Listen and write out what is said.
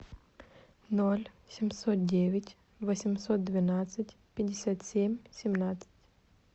ноль семьсот девять восемьсот двенадцать пятьдесят семь семнадцать